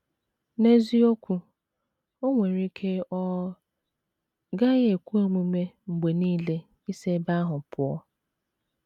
N’eziokwu, o nwere ike ọ gaghị ekwe omume mgbe nile isi ebe ahụ pụọ.